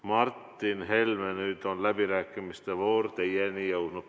Martin Helme, nüüd on läbirääkimistevoor teieni jõudnud.